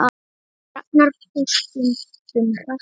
Ragnar fór stundum hratt yfir.